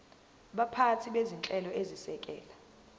baphathi bezinhlelo ezisekela